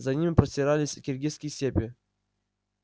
за ними простирались киргизские степи